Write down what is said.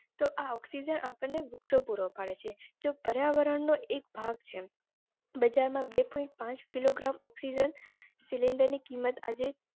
તો આ oxygen આપણને વૃક્ષો પૂરો પાડે છે. જે પર્યાવરણનો એક ભાગ છે. બજારમાં બે point પાંચ kilogram oxygen cylinder ની કિંમત આજે